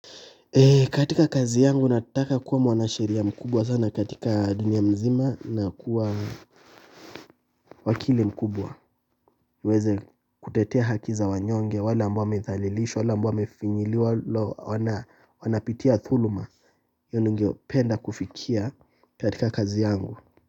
Katika kazi yangu nataka kuwa mwanasheria mkubwa sana katika dunia mzima na kuwa wakili mkubwa. Niweze kutetea haki za wanyonge wale ambao wamethalilishwa, wale ambao wamefinyiliwa, la hawana wamepitia thuluma. Yo ningependa kufikia katika kazi yangu.